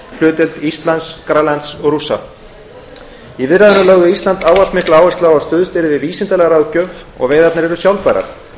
hlutdeild íslands grænlands og rússlands í viðræðunum lögðu íslendingar ávallt mikla áherslu á að stuðst yrði við vísindalega ráðgjöf og að veiðarnar yrðu sjálfbærar